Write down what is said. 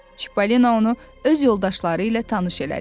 Çippolino onu öz yoldaşları ilə tanış elədi.